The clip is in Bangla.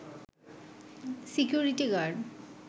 security guard